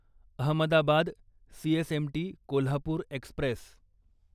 Ahmedabad CSMT Kolhapur Express